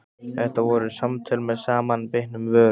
Þetta voru samtöl með samanbitnum vörum.